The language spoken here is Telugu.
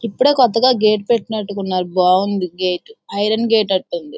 ఇప్పుడే కొత్తగా గేట్ పెట్టినట్టున్నారు. బాగుంది గేట్ ఐరన్ గేట్ అన్నట్టుంది.